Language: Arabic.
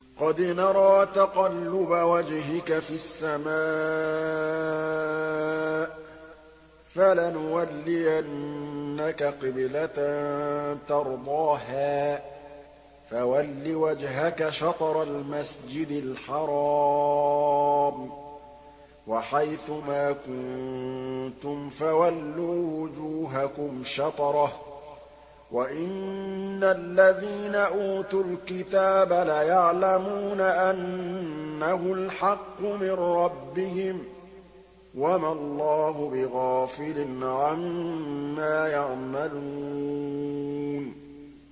قَدْ نَرَىٰ تَقَلُّبَ وَجْهِكَ فِي السَّمَاءِ ۖ فَلَنُوَلِّيَنَّكَ قِبْلَةً تَرْضَاهَا ۚ فَوَلِّ وَجْهَكَ شَطْرَ الْمَسْجِدِ الْحَرَامِ ۚ وَحَيْثُ مَا كُنتُمْ فَوَلُّوا وُجُوهَكُمْ شَطْرَهُ ۗ وَإِنَّ الَّذِينَ أُوتُوا الْكِتَابَ لَيَعْلَمُونَ أَنَّهُ الْحَقُّ مِن رَّبِّهِمْ ۗ وَمَا اللَّهُ بِغَافِلٍ عَمَّا يَعْمَلُونَ